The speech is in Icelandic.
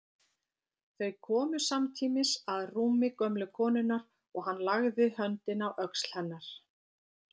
Þau komu samtímis að rúmi gömlu konunnar og hann lagði höndina á öxl hennar.